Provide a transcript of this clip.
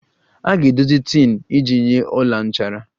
A ga-edozi tin iji nye ọla nchara